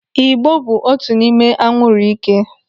Ị̀gbò bụ otu n'ime anwụrụ ike.